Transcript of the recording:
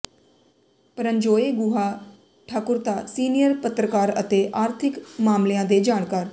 Paranjoy Guha Thakurta senior ਪੱਤਰਕਾਰ ਅਤੇ ਆਰਥਿਕ ਮਾਮਲਿਆਂ ਦੇ ਜਾਣਕਾਰ